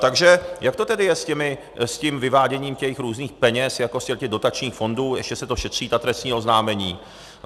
Takže jak to tedy je s tím vyváděním těch různých peněz jako z těch dotačních fondů, ještě se to šetří, ta trestní oznámení?